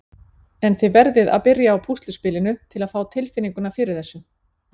En þið verðið að byrja á púsluspilinu til að fá tilfinninguna fyrir þessu.